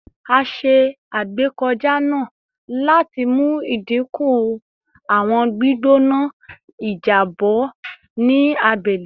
A ṣe agbekọja naa lati mu idinku awọn gbigbona ijabọ ni agbegbe naa